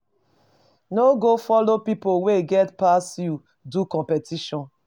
No go follow pipo wey get pass you do competition